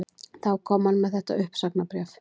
Þá kom hann með þetta uppsagnarbréf